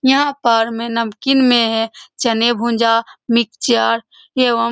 यहाँ पर में नमकीन में है। चने गुजिया मिक्स चाट एवम --